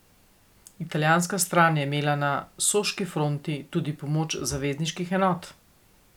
Italijanska stran je imela na soški fronti tudi pomoč zavezniških enot.